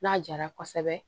N'a jara kosɛbɛ